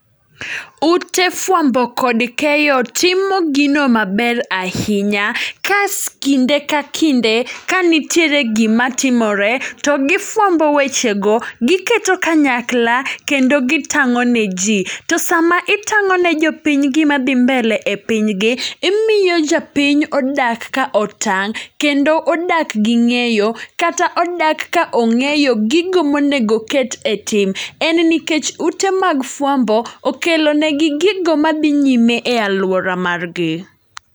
Ute fwambo kod keyo timo gino maber ahinya, kas kinde ka kinde ka nitiere gima timore to gifwambo weche go, giketo kanyakla kendo gitang'o ne ji. To sama itang'o ne jopiny gima dhi mbele e piny gi, imiyo japiny odak ka otang'. Kendo odak ka ng'eyo, kata odak ka ong'eyo gigo monego ket e tim. En nikech ute mag fwambo, okelo negi gigo madhi nyime e alwora gi.